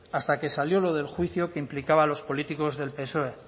hasta que salió lo del juicio que implicaba a los políticos del psoe